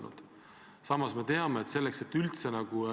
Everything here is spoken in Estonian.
Või te arvate, et EAS-is on kõik okei ja teie ametist lahkuv nõunik lihtsalt valetab?